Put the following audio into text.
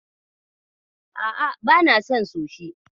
A'a bana son sushi.